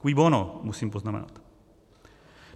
Cui bono? musím poznamenat.